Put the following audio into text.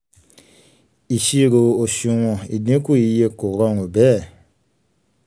iṣiro oṣuwọn ìdínkù iye kò rọrùn bẹ́ẹ̀